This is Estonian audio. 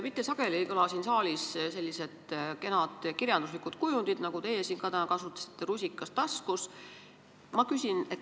Mitte sageli ei kõla siin saalis sellised kenad kirjanduslikud kujundid, nagu teie siin täna kasutasite: "rusikas taskus".